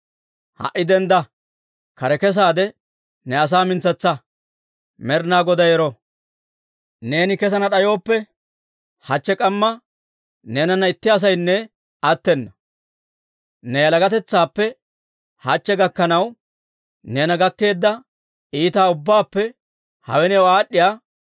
Ha"i dendda! Kare kesaade ne asaa mintsetsa. Med'inaa Goday ero! Neeni kessana d'ayooppe, hachche k'amma neenana itti asaynne attena. Ne yalagatetsaappe hachche gakkanaw, neena gakkeedda iitaa ubbaappe hawe new aad'd'iyaa iita gidana» yaageedda.